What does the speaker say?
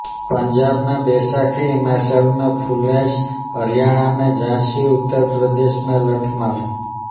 पंजाब में बैसाखी हिमाचल में फुल्लैच हरियाणा में सांझी उत्तर प्रदेश में लठमार